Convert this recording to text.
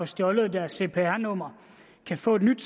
stjålet deres cpr nummer kan få et nyt